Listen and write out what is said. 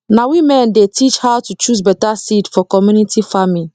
na women dey teach how to choose better seed for community farming